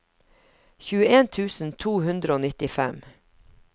tjueen tusen to hundre og nittifem